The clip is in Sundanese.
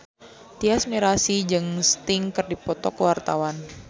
Tyas Mirasih jeung Sting keur dipoto ku wartawan